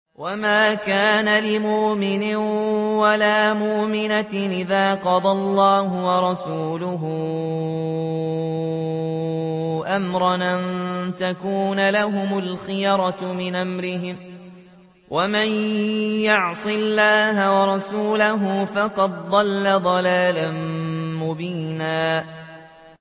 وَمَا كَانَ لِمُؤْمِنٍ وَلَا مُؤْمِنَةٍ إِذَا قَضَى اللَّهُ وَرَسُولُهُ أَمْرًا أَن يَكُونَ لَهُمُ الْخِيَرَةُ مِنْ أَمْرِهِمْ ۗ وَمَن يَعْصِ اللَّهَ وَرَسُولَهُ فَقَدْ ضَلَّ ضَلَالًا مُّبِينًا